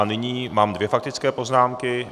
A nyní mám dvě faktické poznámky.